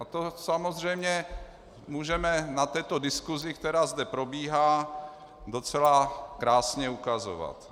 A to samozřejmě můžeme na této diskusi, která zde probíhá, docela krásně ukazovat.